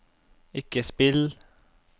ikke spill